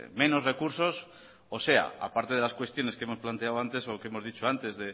menos recursos o sea aparte de las cuestiones que hemos planteado antes lo que hemos dicho antes